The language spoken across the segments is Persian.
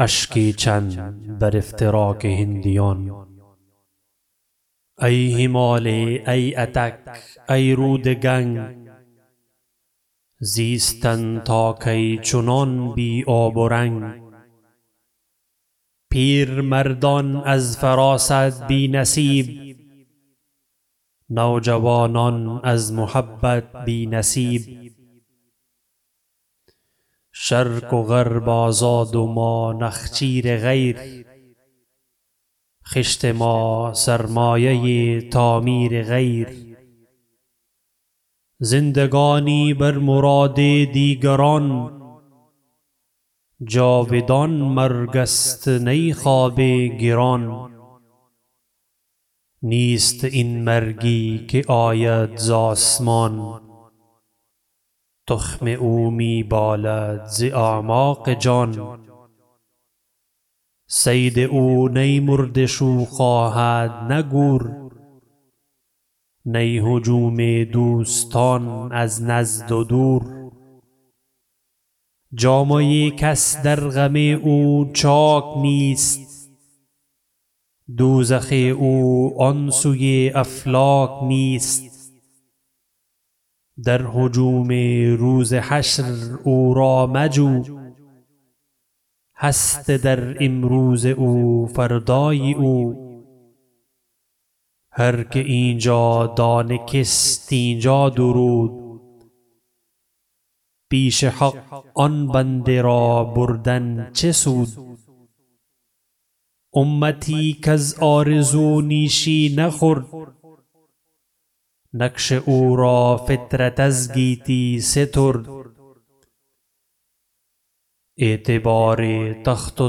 ای هماله ای اطک ای رود گنگ زیستن تا کی چنان بی آب و رنگ پیر مردان از فراست بی نصیب نوجوانان از محبت بی نصیب شرق و غرب آزاد و ما نخچیر غیر خشت ما سرمایه تعمیر غیر زندگانی بر مراد دیگران جاودان مرگست نی خواب گران نیست این مرگی که آید ز آسمان تخم او می بالد ز اعماق جان صید او نی مرده شو خواهد نه گور نی هجوم دوستان از نزد و دور جامه کس در غم او چاک نیست دوزخ او آنسوی افلاک نیست در هجوم روز حشر او را مجو هست در امروز او فردای او هر که اینجا دانه کشت اینجا درود پیش حق آن بنده را بردن چه سود امتی کز آرزو نیشی نخورد نقش او را فطرت از گیتی سترد اعتبار تخت و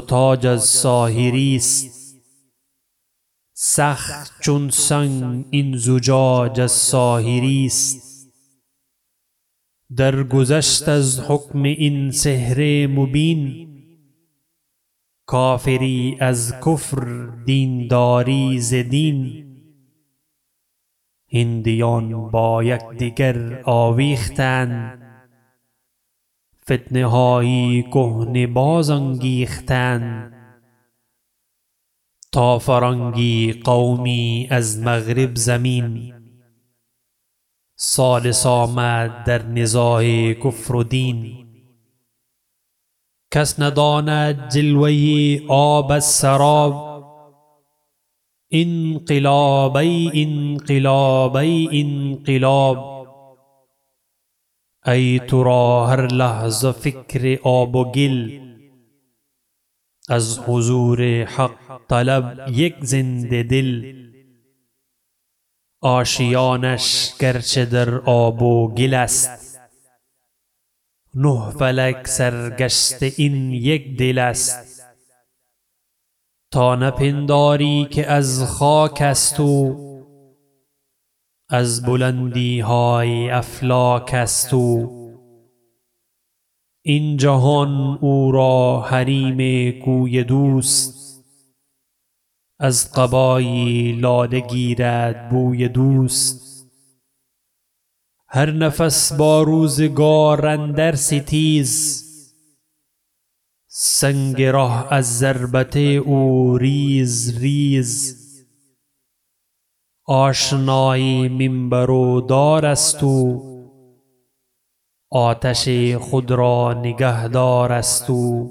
تاج از ساحری است سخت چون سنگ این زجاج از ساحریست در گذشت از حکم این سحر مبین کافری از کفر دینداری ز دین هندیان با یکدگر آویختند فتنه های کهنه باز انگیختند تا فرنگی قومی از مغرب زمین ثالث آمد در نزاع کفر و دین کس نداند جلوه آب از سراب انقلاب ای انقلاب ای انقلاب ای ترا هر لحظه فکر آب و گل از حضور حق طلب یک زنده دل آشیانش گرچه در آب و گل است نه فلک سر گشته این یک دل است تا نپنداری که از خاک است او از بلندی های افلاک است او این جهان او را حریم کوی دوست از قبای لاله گیرد بوی دوست هر نفس با روزگار اندر ستیز سنگ ره از ضربت او ریز ریز آشنای منبر و دار است او آتش خود را نگهدار است او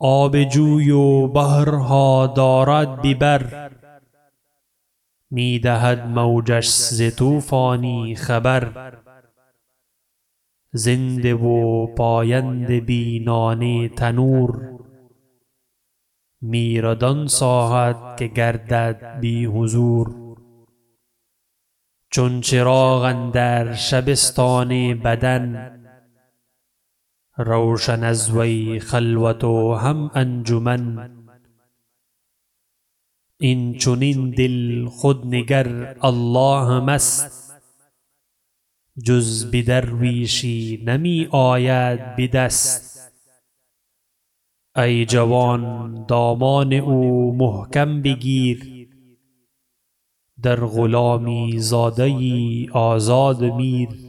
آب جوی و بحر ها دارد به بر می دهد موجش ز طوفانی خبر زنده و پاینده بی نان تنور میرد آن ساعت که گردد بی حضور چون چراغ اندر شبستان بدن روشن از وی خلوت و هم انجمن اینچنین دل خود نگر الله مست جز به درویشی نمی آید بدست ای جوان دامان او محکم بگیر در غلامی زاده یی آزاد میر